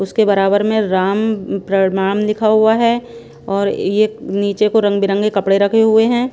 उसके बराबर में राम अम प्रमाण लिखा हुआ है और ये नीचे को रंग बिरंगे कपड़े रखे हुए हैं।